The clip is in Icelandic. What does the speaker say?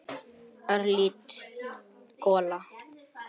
Örlítil gola.